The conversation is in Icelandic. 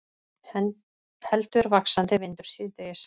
Heldur vaxandi vindur síðdegis